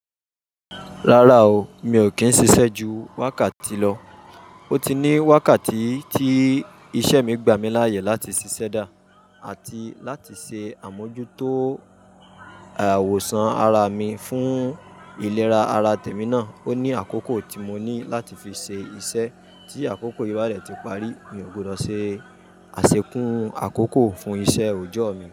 Rárá o, mi ò kì n sisẹ́ ju wákàtí lọ. Ó ti ní wákàtí tí isẹ́ mi gbàmí láàyè láti ṣiṣẹ́ dà àti láti se àmójútó ìwòsàn ara mi fún ìlera ara tèmi náà. O ní àkókò tí mo ní láti fi ṣe iṣẹ́ tí àkókò yí bá ní dẹ̀ ti parí. Mi ò gbọdọ̀ ṣe àṣekún àkókò fún iṣẹ́ òòjọ́ mi.